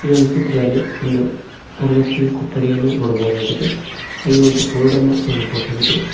ಈ ಒಂದು ಚಿತ್ರದಲ್ಲಿ ಒಂದು ತರಗತಿಯ ಕೊಠಡಿಯನ್ನು ನೋಡ್ಬೋದಾಗಿದೆ ಹಾಗೆ ಒಂದು ಬೋರ್ಡನ್ನ ನೋಡ್ಬೋದಾಗಿದೆ.